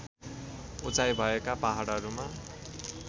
उचाई भएका पहाडहरूमा